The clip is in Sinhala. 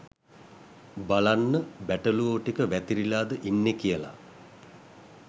"බලන්න බැටළුවො ටික වැතිරිලාද ඉන්නෙ කියල"